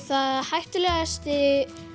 hættulegasti